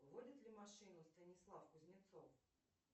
водит ли машину станислав кузнецов